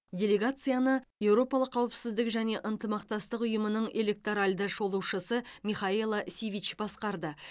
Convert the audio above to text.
делегацияны еуропалық қауіпсіздік және ынтымақтастық ұйымының электоральды шолушысы михаела сивич басқарды